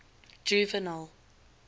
juvenal